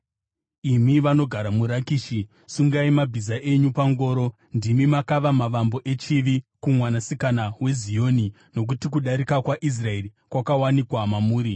Imi vanogara muRakishi, sungai mabhiza enyu pangoro. Ndimi makava mavambo echivi kuMwanasikana weZioni, Nokuti kudarika kwaIsraeri kwakawanikwa mamuri.